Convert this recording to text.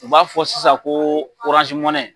U b'a fɔ sisan ko .